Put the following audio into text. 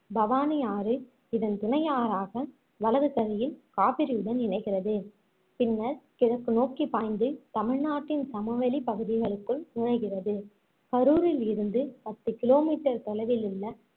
பவானி ஆறு இதன் துணையாறாக வலது கரையில் காவிரியுடன் இணைகிறது பின்னர் கிழக்கு நோக்கிப் பாய்ந்து தமிழ்நாட்டின் சமவெளிப் பகுதிகளுக்குள் நுழைகிறது கரூரில் இருந்து பத்து kilometer தொலைவில்லுள்ள